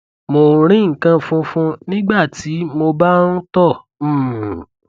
mo ń rí nǹkan fúnfun nígbà tí mo bá ń tọ um